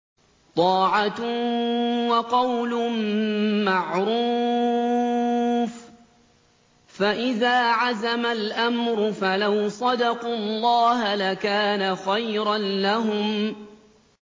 طَاعَةٌ وَقَوْلٌ مَّعْرُوفٌ ۚ فَإِذَا عَزَمَ الْأَمْرُ فَلَوْ صَدَقُوا اللَّهَ لَكَانَ خَيْرًا لَّهُمْ